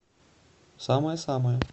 самая самая